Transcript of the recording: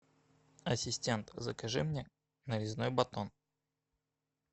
ассистент закажи мне нарезной батон